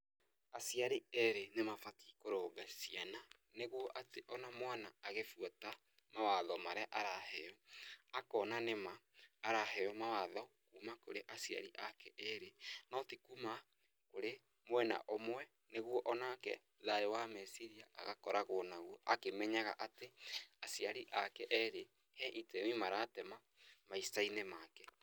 Aciari erĩ nĩmabatiĩ kũrũnga ciana nĩguo atĩ ona mwana agibuata mawatho marĩ araheo, akona nĩma araheo mawatho kuuma kurĩ aciari ake eri no ti kuma kũrĩ mwena ũmwe nĩguo onake thayũ wa meciria agakoragwo naguo akĩmenyaga atĩ aciari ake erĩ he itemi maratema maica-inĩ make.